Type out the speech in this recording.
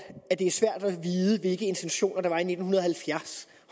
at det er svært at vide hvilke intentioner der var i nitten halvfjerds